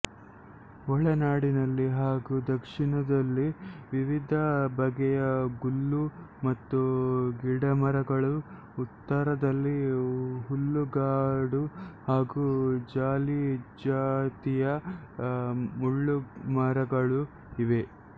ಒಳನಾಡಿನಲ್ಲಿ ಹಾಗೂ ದಕ್ಷಿಣದಲ್ಲಿ ವಿವಿಧ ಬಗೆಯ ಗುಲ್ಲು ಮತ್ತು ಗಿಡಮರಗಳೂ ಉತ್ತರದಲ್ಲಿ ಹುಲ್ಲುಗಾಡು ಹಾಗೂ ಜಾಲಿ ಜಾತಿಯ ಮುಳ್ಳುಮರಗಳೂ ಇವೆ